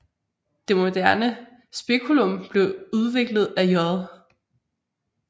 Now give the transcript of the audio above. Det moderne speculum blev udviklet af J